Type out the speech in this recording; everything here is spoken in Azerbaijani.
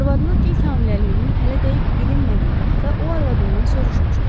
Arvadının ilk hamiləliyinin hələ dəqiq bilinmədiyi vaxta o arvadından soruşmuşdu.